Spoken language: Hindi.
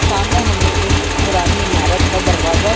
सामने हमें एक पुरानी ईमारत का दरवाजा --